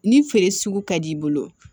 Ni feere sugu ka d'i bolo